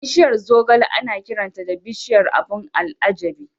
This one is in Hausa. Bishiyar zogale ana kiranta da "Bishiyar abun al'ajabi".